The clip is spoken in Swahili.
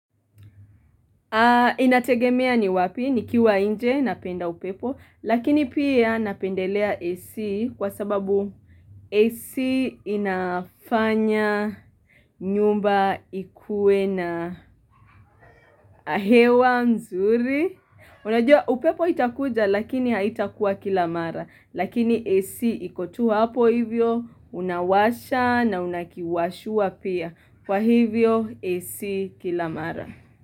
Inategemea ni wapi, nikiwa nje, napenda upepo, lakini pia napendelea AC kwa sababu AC inafanya nyumba ikuwe na hewa nzuri. Unajua upepo itakuja lakini haitakuwa kila mara, lakini AC iko tu hapo hivyo, unawasha na unakiwashua pia. Kwa hivyo AC kila mara.